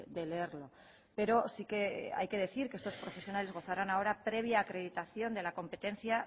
de leerlo pero sí que hay que decir que estos profesionales gozarán ahora previa acreditación de la competencia